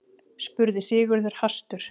spurði Sigurður hastur.